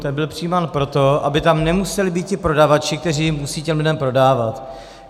Ten byl přijímán proto, aby tam nemuseli být ti prodavači, kteří musí těm lidem prodávat.